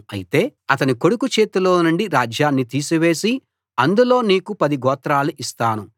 అయితే అతని కొడుకు చేతిలోనుండి రాజ్యాన్ని తీసివేసి అందులో నీకు పది గోత్రాలు ఇస్తాను